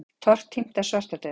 Tortímt af svartadauða?